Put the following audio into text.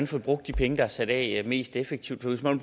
får brugt de penge der er sat af mest effektivt så hvis man